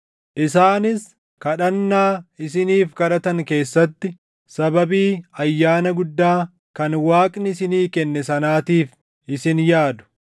Isaanis kadhannaa isiniif kadhatan keessatti sababii ayyaana guddaa kan Waaqni isinii kenne sanaatiif isin yaadu.